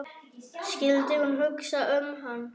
Skyldi hún hugsa um hann?